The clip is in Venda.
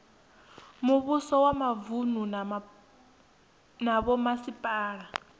muvhuso wa mavunu na vhomasipala